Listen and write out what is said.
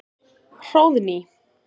Hróðný